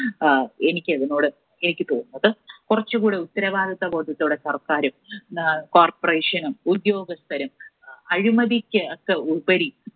ആഹ് എനിക്ക് അതിനോട്, എനിക്ക് തോന്നുന്നത്. കുറച്ചുകൂടി ഉത്തരവാദിത്വബോധത്തോടെ സർക്കാരും അഹ് Corporation ഉം ഉദ്യോഗസ്ഥരും അഴിമതിക്ക് ഒക്കെ ഉപരി